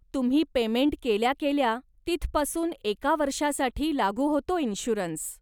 तुम्ही पेमेंट केल्या केल्या, तिथपासून एका वर्षासाठी लागू होतो इन्श्युरन्स.